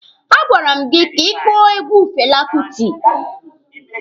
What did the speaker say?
A gwara m gị ka ị kpọọ egwu Fela Kuti!